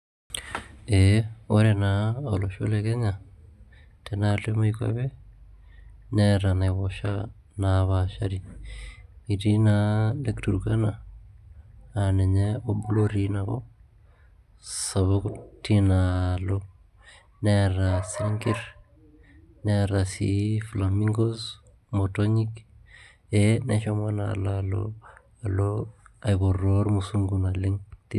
Ee ore naa olosho le kenya tenaaalo emoikwape neeta enaiposha naapashari etii naa Lake Turkana naa ninye obo lotii ina kop sapuk tinaalo neeta singirr neeta sii flamingoes imotonyik ee neshomo naa alo aipotoo ilmusungu naleng'